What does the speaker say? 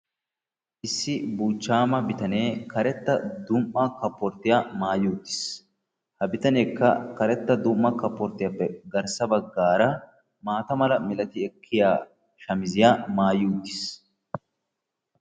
Issi buchchaama bitanee karettaa dum"a kaporttiya maatti uttiis. Ha bitaneekka karetta dum"a kaaporttiyappe garssa baggaara maata mala milati ekkiya shamiziyaa maayi uttiis.